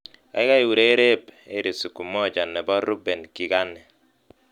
Kaikai urereb 'heri siku moja' nebo Reuben Kigane